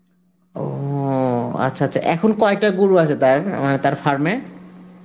ও আচ্ছা আচ্ছা, এখন কয়টা গরু আছে তার মানে তার farm এ?